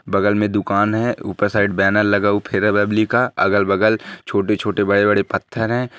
बगल में दुकान है उपर साइड बैनर लगा हवा है अगल बगल छोटे छोटे बड़े बड़े पत्थर है।